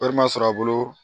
Wari ma sɔrɔ a bolo